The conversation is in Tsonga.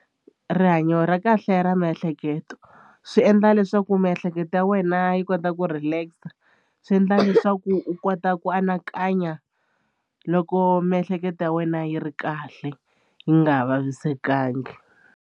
Rihanyo ra kahle ra miehleketo swi endla leswaku miehleketo ya wena yi kota ku relax swi endla leswaku u kota ku anakanya loko miehleketo ya wena yi ri kahle yi nga vavisekangi.